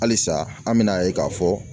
Halisa an bɛ n'a ye k'a fɔ